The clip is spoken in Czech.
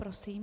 Prosím.